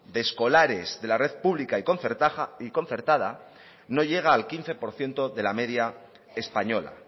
de escolares de la red pública y concertada no llega al quince por ciento de la media española